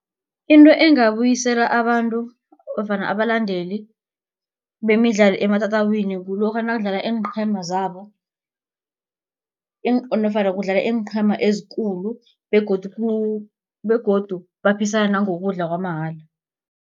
Into engabuyisela abantu nofana abalandeli bemidlalo ematatawini kulokha nakudlala iinqhema zabo nofana kudlala iinqhema ezikulu begodu begodu baphisana nangokudla kwamahala.